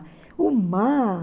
O mar...